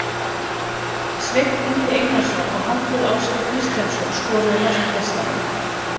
Sveinn Ingi Einarsson og Hallur Ásgeir Kristjánsson skoruðu mörk gestanna.